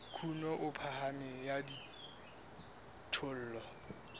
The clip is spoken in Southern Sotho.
kuno e phahameng ya dijothollo